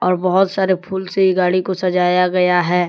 बहोत सारे फूल से ये गाड़ी को सजाया गया है।